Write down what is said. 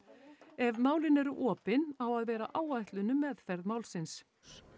ef málin eru opin á að vera áætlun um meðferð málsins